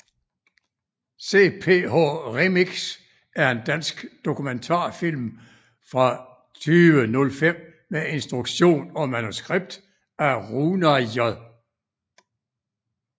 CPH Remix er en dansk dokumentarfilm fra 2005 med instruktion og manuskript af Rúnar J